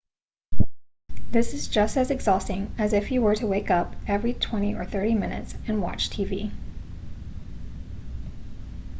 this is just as exhausting as if you were to wake up every twenty or thirty minutes and watch tv